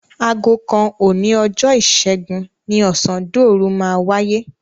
Aago kan òní ọjọ́ Ìṣẹ́gun ni ọ̀sándòru máa wáyé.